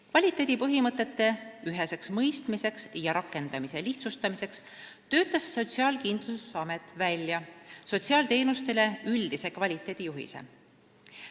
Kvaliteedipõhimõtete üheseks mõistmiseks ja rakendamise lihtsustamiseks töötas Sotsiaalkindlustusamet välja sotsiaalteenustele üldise kvaliteedijuhise.